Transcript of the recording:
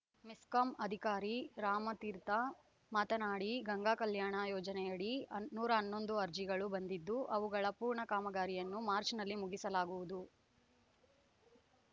ಮೆಸ್ಕಾಂ ಅಧಿಕಾರಿ ರಾಮತೀರ್ಥ ಮಾತನಾಡಿ ಗಂಗಾಕಲ್ಯಾಣ ಯೋಜನೆಯಡಿ ಹನ ನೂರ ಹನ್ನೊಂದು ಅರ್ಜಿಗಳು ಬಂದಿದ್ದು ಅವುಗಳ ಪೂರ್ಣ ಕಾಮಗಾರಿಯನ್ನು ಮಾರ್ಚ್ನಲ್ಲಿ ಮುಗಿಸಲಾಗುವುದು